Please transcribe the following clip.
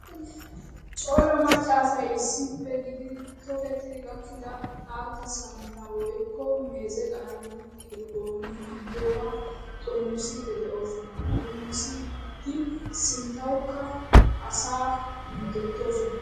Cora macca asay issippe gididi tokettidi gakkida xaatta santtaa woykko meeze qaalan xiqiilggoomeniya giyogaa xomoosiiddi de'oosona. Xomoosidi sinttawuka asaa minttettoosona.